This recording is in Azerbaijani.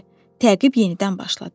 Təqib yenidən başladı.